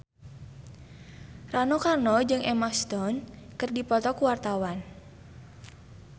Rano Karno jeung Emma Stone keur dipoto ku wartawan